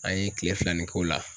An ye kile fila nin k'o la.